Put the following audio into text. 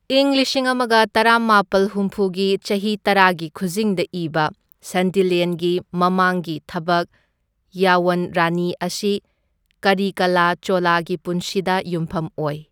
ꯏꯪ ꯂꯤꯁꯤꯡ ꯑꯃꯒ ꯇꯔꯥꯃꯥꯄꯜ ꯍꯨꯝꯐꯨꯒꯤ ꯆꯍꯤ ꯇꯔꯥꯒꯤ ꯈꯨꯖꯤꯡꯗ ꯏꯕ, ꯁꯟꯗꯤꯂ꯭ꯌꯟꯒꯤ ꯃꯃꯥꯡꯒꯤ ꯊꯕꯛ, ꯌꯥꯋꯟ ꯔꯥꯅꯤ ꯑꯁꯤ ꯀꯔꯤꯀꯥꯂꯥ ꯆꯣꯂꯥꯒꯤ ꯄꯨꯟꯁꯤꯗ ꯌꯨꯝꯐꯝ ꯑꯣꯏ꯫